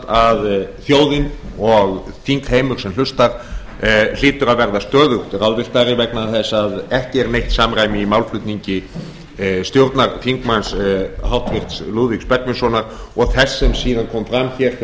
að þjóðin og þingheimur sem hlustar hlýtur að verða stöðugt ráðvilltari vegna þess að ekki er neitt samræmi í málflutningi stjórnarþingmanns háttvirtur lúðvíks bergvinssonar og þess sem síðan kom fram hér hjá